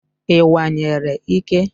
I kwanyere ike?